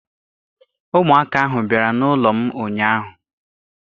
Ụmụaka ahụ bịara n'ụlọ m ụnyaahụ.